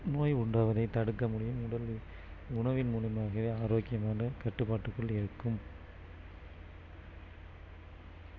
நோய் உண்டாவதை தடுக்க முடியும் உடல் உ~உணவின் மூலமாகவே ஆரோக்கியமான கட்டுப்பாட்டுக்குள் இருக்கும்